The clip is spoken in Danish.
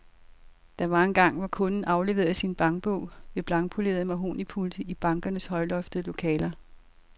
Der var engang, hvor kunden afleverede sin bankbog ved blankpolerede mahognipulte i bankernes højloftede lokaler.